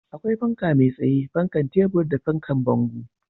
Akwai fanka mai tsaye, fanan tebur da fanan bango